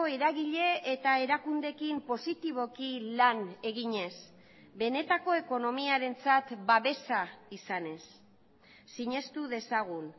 eragile eta erakundeekin positiboki lan eginez benetako ekonomiarentzat babesa izanez sinestu dezagun